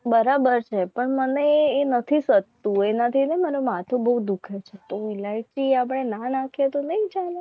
બરાબર છે પણ મને એ નથી થતું એનાથી એને મને માથું બહુ દુખે છે. તો ઈલાયચી મને ના નાખે નહિ ચાલશે.